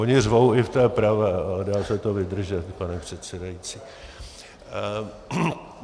Oni řvou i v té pravé, ale dá se to vydržet, pane předsedající.